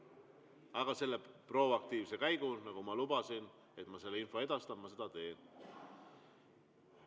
Aga nagu ma lubasin, siis selle proaktiivse käigu info edastamiseks ma teen.